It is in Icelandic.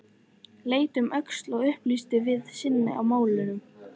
Leit um öxl og upplýsti hið sanna í málinu: